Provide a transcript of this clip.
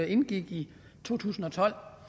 indgik i to tusind og tolv